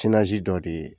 dɔ de ye